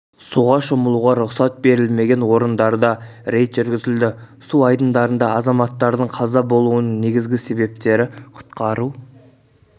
суға шомылуға рұқсат берілмеген орындарында рейд жүргізілді су айдындарында азаматтардың қаза болуының негізгі себептері құтқару